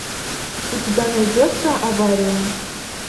у тебя найдется авария